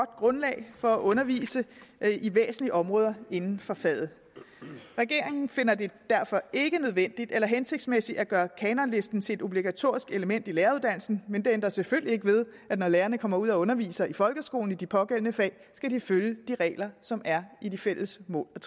grundlag for at undervise i væsentlige områder inden for faget regeringen finder det derfor ikke nødvendigt eller hensigtsmæssigt at gøre kanonlisten til et obligatorisk element i læreruddannelsen men det ændrer selvfølgelig ikke ved at når lærerne kommer ud og underviser i folkeskolen i de pågældende fag skal de følge de regler som er i de fælles mål og